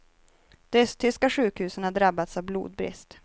De östtyska sjukhusen har drabbats av blodbrist.